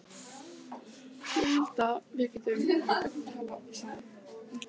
Ég held að við getum nú talað saman!